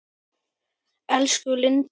Elsku Lindi.